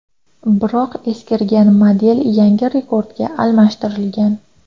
Biroq eskirgan model yangi Rekord’ga almashtirilgan.